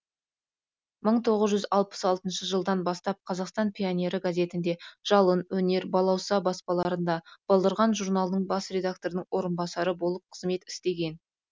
мың тоғыз жүз алпыс алтыншы жылдан бастап қазақстан пионері газетінде жалын өнер балауса баспаларында балдырған журналының бас редакторының орынбасары болып қызмет істеген